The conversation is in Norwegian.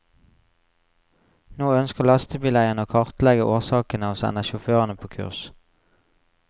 Nå ønsker lastebileierne å kartlegge årsakene og sender sjåførene på kurs.